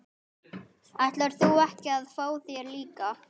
Ætlar þú ekki að fá þér líka?